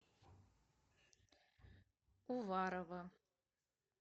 уварово